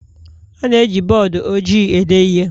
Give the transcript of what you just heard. A na-eji bọọdụ ojii ede ihe